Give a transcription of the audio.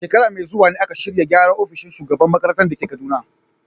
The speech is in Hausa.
A shekara mai zuwa ne aka shirya gyara ofishin shugaban makarantar da ke Kaduna.